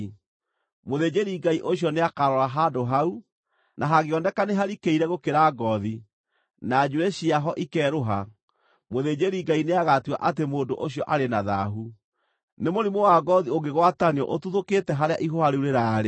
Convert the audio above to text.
Mũthĩnjĩri-Ngai ũcio nĩakarora handũ hau, na hangĩoneka nĩ harikĩire gũkĩra ngoothi, na njuĩrĩ ciaho ikerũha, mũthĩnjĩri-Ngai nĩagatua atĩ mũndũ ũcio arĩ na thaahu. Nĩ mũrimũ wa ngoothi ũngĩgwatanio ũtuthũkĩte harĩa ihũha rĩu rĩraarĩ.